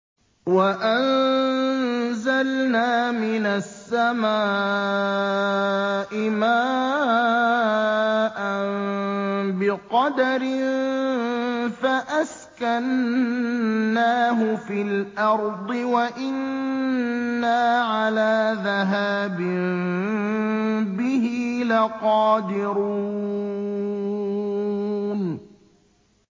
وَأَنزَلْنَا مِنَ السَّمَاءِ مَاءً بِقَدَرٍ فَأَسْكَنَّاهُ فِي الْأَرْضِ ۖ وَإِنَّا عَلَىٰ ذَهَابٍ بِهِ لَقَادِرُونَ